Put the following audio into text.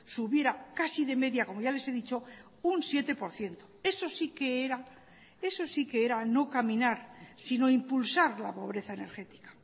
subiera casi de media como ya les he dicho un siete por ciento eso sí que era eso sí que era no caminar sino impulsar la pobreza energética